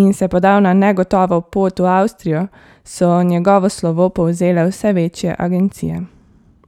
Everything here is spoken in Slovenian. in se podal na negotovo pot v Avstrijo, so njegovo slovo povzele vse večje agencije.